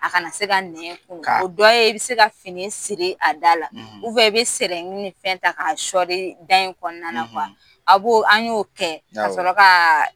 A kana se ka nɛn kunun o dɔ ye i bɛ se ka fini siri a da la i bɛ ni fɛn ta k'a sɔɔri da in kɔnɔna a b'o an y'o kɛ ka sɔrɔ ka